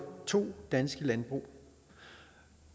to danske landbrug